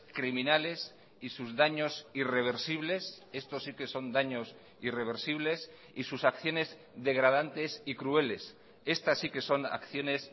criminales y sus daños irreversibles esto sí que son daños irreversibles y sus acciones degradantes y crueles estas sí que son acciones